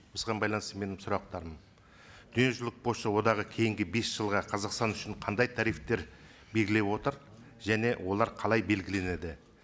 осыған байланысты менің сұрақтарым дүниежүзілік пошта одағы кейінгі бес жылға қазақстан үшін қандай тарифтер белгілеп отыр және олар қалай белгіленеді